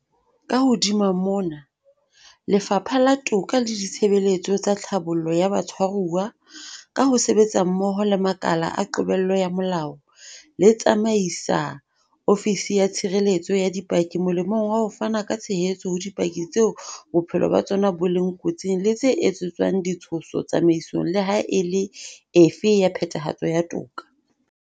Ka hodima mona, Lefapha la Toka le Ditshebeletso tsa Tlhabollo ya Batshwaruwa, ka ho sebetsa mmoho le makala a qobello ya molao, le tsamaisa Ofisi ya Tshireletso ya Dipaki molemong wa ho fana ka tshehetso ho dipaki tseo bophelo ba tsona bo leng kotsing le tse etsetswang di tshoso tsamaisong le ha e le efe ya phethahatso ya toka.